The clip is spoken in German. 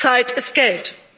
Zeit ist Geld